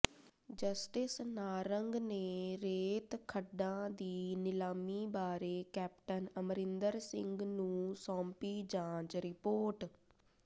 justice Narang ਨੇ ਰੇਤ ਖੱਡਾਂ ਦੀ ਨਿਲਾਮੀ ਬਾਰੇ ਕੈਪਟਨ ਅਮਰਿੰਦਰ ਸਿੰਘ ਨੂੰ ਸੌਂਪੀ ਜਾਂਚ ਰਿਪੋਰਟ